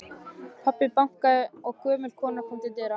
Pabbi bankaði og gömul kona kom til dyra.